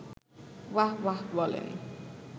ওয়াহ্ ওয়াহ্ বলেন